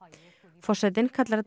forsetinn kallar þetta